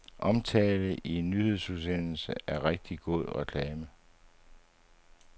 Omtale i en nyhedsudsendelse er rigtig god reklame.